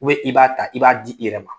i b'a ta i b'a di i yɛrɛ ma.